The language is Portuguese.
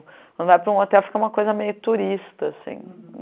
Quando vai para um hotel, fica uma coisa meio turista, assim.